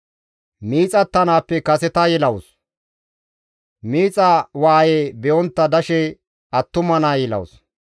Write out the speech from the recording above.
Miixattanaappe kaseta yelawus; miixa waaye be7ontta dashe attuma naa yelawus.